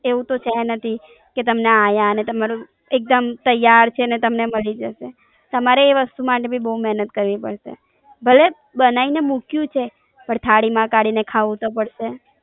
એવું તો છે નથી, કે તમે આયા ને તમારું એક દમ તૈયાર છે ને તમને મળી જશે, તમારે એ વસ્તુ માટે બી બોવ મેનત કરવી પડશે, ભલે બનાવીને મૂક્યું છે પણ થાળી માં કાઢીને ખાવું તો પડશે.